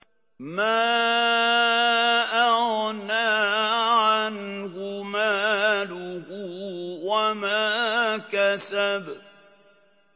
مَا أَغْنَىٰ عَنْهُ مَالُهُ وَمَا كَسَبَ